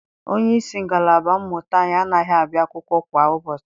Onyeisi ngalaba mmụta anyi anaghị abịa akwụkwọ kwa ụbọchị.